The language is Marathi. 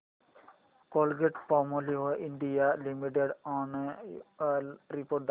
Colgate Palmolive India limited annual report दाखव